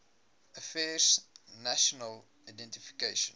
affairs national identification